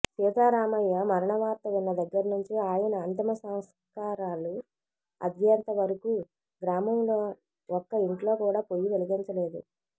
సీతారామయ్య మరణవార్త విన్న దగ్గరనుంచి ఆయన అంతిమసస్కారాలు అయ్యేంత వరకూ గ్రామంలో ఒక్క ఇంట్లో కూడా పొయ్యి వెలిగించలేదు